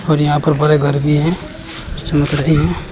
और यहां पर बड़े घर भी हैं जो चमक रहे हैं।